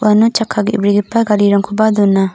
uano chakka ge·brigipa garirangkoba don·a.